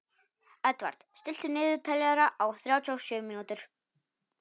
Edvard, stilltu niðurteljara á þrjátíu og sjö mínútur.